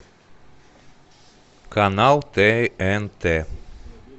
канал тнт